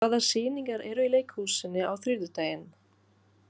Aðalberg, hvaða sýningar eru í leikhúsinu á þriðjudaginn?